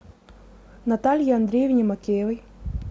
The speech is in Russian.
наталье андреевне макеевой